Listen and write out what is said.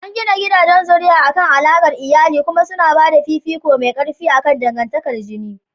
An gina gidajen zuri'a akan alaƙar iyali kuma suna ba da fifiko mai ƙarfi akan dangantakar jini.